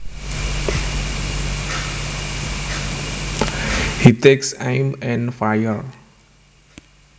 He takes aim and fires